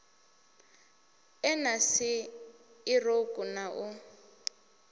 e na si irouku na